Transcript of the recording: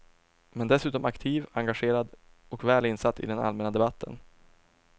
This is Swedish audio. Men dessutom aktiv, engagerad och väl insatt i den allmänna debatten.